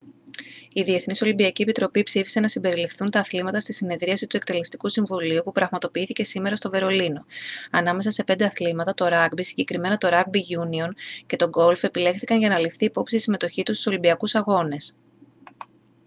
η διεθνής ολυμπιακή επιτροπή ψήφισε να συμπεριληφθούν τα αθλήματα στη συνεδρίαση του εκτελεστικού συμβουλίου που πραγματοποιήθηκε σήμερα στο βερολίνο ανάμεσα σε πέντε αθλήματα το ράγκμπι συγκεκριμένα το ράγκμπι γιούνιον και το γκολφ επιλέχθηκαν για να ληφθεί υπόψη η συμμετοχή τους στους ολυμπιακούς αγώνες